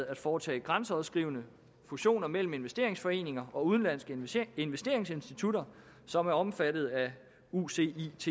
at foretage grænseoverskridende fusioner mellem investeringsforeninger og udenlandske investeringsinstitutter som er omfattet af ucits